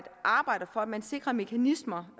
arbejde for at man sikrer mekanismer